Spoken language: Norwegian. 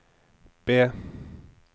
B